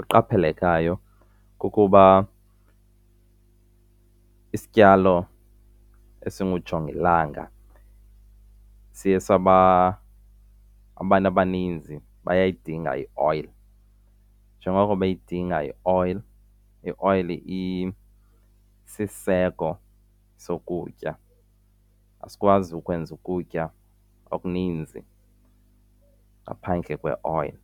Eqaphelekayo kukuba isityalo esingujongilanga siye , abantu abaninzi bayayidinga ioyile. Njengoko beyidinga ioyile, ioyile isisiseko sokutya, asikwazi ukwenza ukutya okuninzi ngaphandle kweoyile.